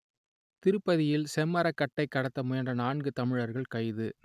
திருப்பதியில் செம்மரக்கட்டை கடத்த முயன்ற நான்கு தமிழர்கள் கைது